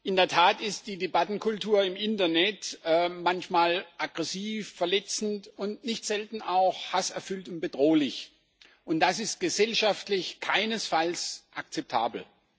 In der Tat ist die Debattenkultur im Internet manchmal aggressiv, verletzend und nicht selten auch hasserfüllt und bedrohlich, und das ist gesellschaftlich keinesfalls akzeptabel.